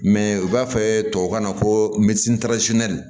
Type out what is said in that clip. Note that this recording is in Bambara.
Mɛ u b'a fɔ tubabukan na ko